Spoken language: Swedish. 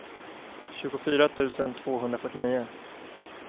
tjugofyra tusen tvåhundrafyrtionio